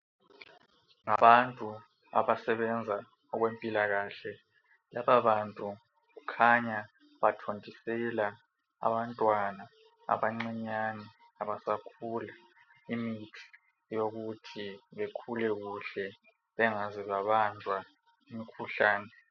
Ngabantu abasebenza okwempilakahle. Lababantu kukhanya bathontisela abantwana abancinyane abasakhula imithi yokuthi bekhule kuhle bengaze babanjwa yimikhuhlane.